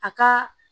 A ka